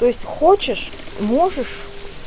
то есть хочешь можешь